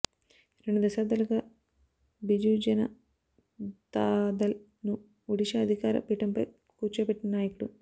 రెండు దశాబ్దా లుగా బిజూజనతాదళ్ ను ఒడిషా అధికార పీఠంపై కూర్చోబెట్టిన నాయకుడు